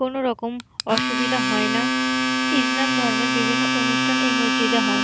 কোনো রকম অসুবিধা হয় না ইসলাম ধর্মের বিভিন্ন অনুষ্ঠান এই মসজিদে হয়।